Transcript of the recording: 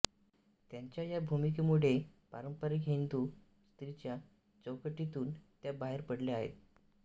त्यांच्या या भूमिकेमुळे पारंपारिक हिंदू स्त्रीच्या चौकटीतून त्या बाहेर पडल्या आहेत